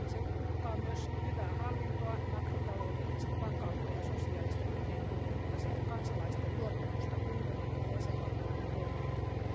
Se uhkaa myös hyvää hallintoa, makrotaloudellista vakautta ja sosiaalista yhteenkuuluvuutta sekä kansalaisten luottamusta unionin ja jäsenvaltioiden toimielimiin.